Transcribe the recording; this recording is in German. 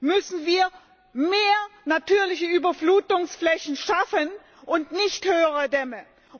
Geld müssen wir mehr natürliche Überflutungsflächen schaffen und nicht höhere Dämme.